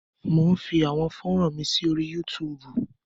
Mò ń fi àwọn fọ́ran mi sí orí Yúutùùbù.